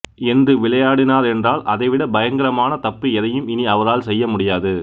என்று விளையாடினார் என்றால் அதைவிட பயங்கரமான தப்பு எதையும் இனி அவரால் செய்யமுடியாது